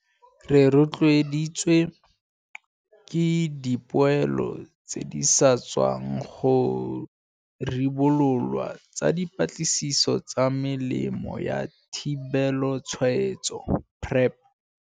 Re rotloeditswe ke dipoelo tse di sa tswang go ribololwa tsa dipatlisiso tsa Melemo ya Thibelotshwaetso, PrEP.